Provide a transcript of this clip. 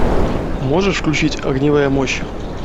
можешь включить огневая мощь